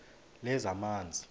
lezamanzi